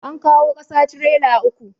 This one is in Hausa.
An kawo ƙasa trela uku.